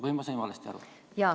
Või ma sain valesti aru?